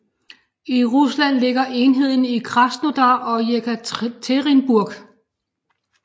I Rusland ligger enheden i Krasnodar og Jekaterinburg